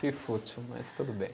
Que fútil, mas tudo bem.